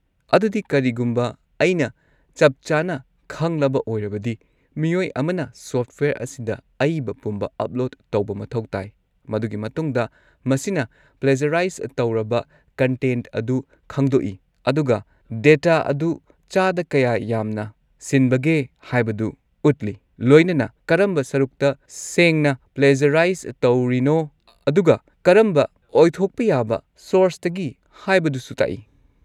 ꯑꯗꯨꯗꯤ, ꯀꯔꯤꯒꯨꯝꯕ ꯑꯩꯅ ꯆꯞꯆꯥꯅ ꯈꯪꯂꯕ ꯑꯣꯏꯔꯕꯗꯤ, ꯃꯤꯑꯣꯏ ꯑꯃꯅ ꯁꯣꯐꯠꯋꯦꯌꯔ ꯑꯁꯤꯗ ꯑꯏꯕ ꯄꯨꯝꯕ ꯑꯞꯂꯣꯗ ꯇꯧꯕ ꯃꯊꯧ ꯇꯥꯏ, ꯃꯗꯨꯒꯤ ꯃꯇꯨꯡꯗ ꯃꯁꯤꯅ ꯄ꯭ꯂꯦꯖꯔꯥꯏꯁ ꯇꯧꯔꯕ ꯀꯟꯇꯦꯟꯠ ꯑꯗꯨ ꯈꯪꯗꯣꯛꯏ ꯑꯗꯨꯒ ꯗꯦꯇꯥ ꯑꯗꯨ ꯆꯥꯗ ꯀꯌꯥ ꯌꯥꯝꯅ ꯁꯤꯟꯕꯒꯦ ꯍꯥꯏꯕꯗꯨ ꯎꯠꯂꯤ, ꯂꯣꯏꯅꯅ ꯀꯔꯝꯕ ꯁꯔꯨꯛꯇ ꯁꯦꯡꯅ ꯄ꯭ꯂꯦꯖꯔꯥꯏꯁ ꯇꯧꯔꯤꯅꯣ ꯑꯗꯨꯒ ꯀꯔꯝꯕ ꯑꯣꯏꯊꯣꯛꯄ ꯌꯥꯕ ꯁꯣꯔꯁꯇꯒꯤ ꯍꯥꯏꯕꯗꯨꯁꯨ ꯇꯥꯛꯏ꯫